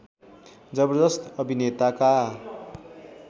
जबरजस्त अभिनेताका